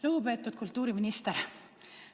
Lugupeetud kultuuriminister!